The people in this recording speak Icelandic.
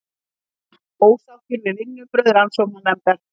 Ósáttur við vinnubrögð rannsóknarnefndar